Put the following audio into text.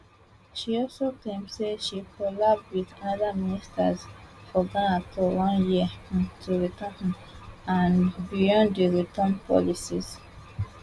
she also claim say she collabo wit oda ministers for ghana to run year um of return um and beyond di return policies